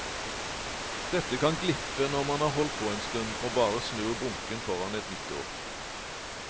Dette kan glippe når man har holdt på en stund, og bare snur bunken foran et nytt år.